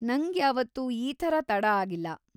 ನಂಗ್ಯಾವತ್ತೂ ಈ ಥರ ತಡ ಆಗಿಲ್ಲ.